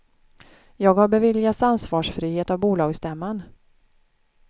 Jag har beviljats ansvarsfrihet av bolagsstämman.